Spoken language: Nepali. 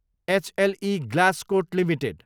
HLE Glasscoat Ltd